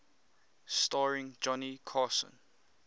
starring johnny carson